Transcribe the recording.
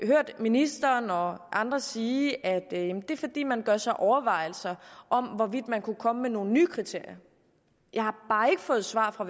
hørt ministeren og andre sige at det er fordi man gør sig overvejelser om hvorvidt man kunne komme med nogle nye kriterier jeg har bare ikke fået svar fra